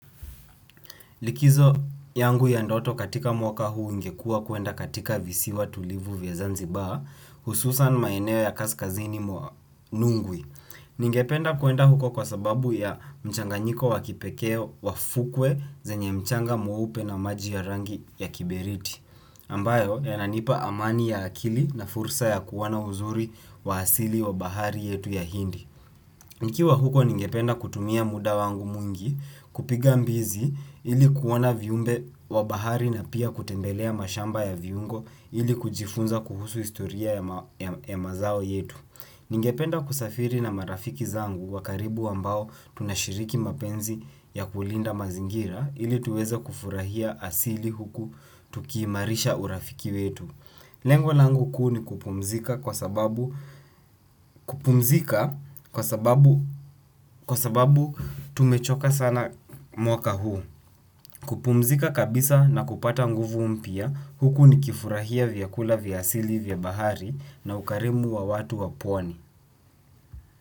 Likizo yangu ya ndoto katika mwaka huu ingekua kuenda katika visiwa tulivu vya zanzibaa hususan maeneo ya kaskazini mwa nungwi. Ningependa kuenda huko kwa sababu ya mchanganyiko wa kipekee wa fukwe zenye mchanga mweupe na maji ya rangi ya kiberiti. Ambayo yananipa amani ya akili na fursa ya kuona uzuri wa asili wa bahari yetu ya hindi. Nikiwa huko ningependa kutumia muda wangu mwingi kupiga mbizi ili kuona viumbe wa bahari na pia kutembelea mashamba ya viungo ili kujifunza kuhusu historia ya mazao yetu. Ningependa kusafiri na marafiki zangu wa karibu ambao tunashiriki mapenzi ya kulinda mazingira ili tuweza kufurahia asili huku tukiimarisha urafiki wetu. Lengwa langu kuu ni kupumzika kwa sababu kupumzika kwa sababu kwa sababu tumechoka sana mwaka huu. Kupumzika kabisa na kupata nguvu mpya huku nikifurahia vyakula vya asili vya bahari na ukarimu wa watu wa pwani.